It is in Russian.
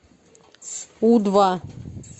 у два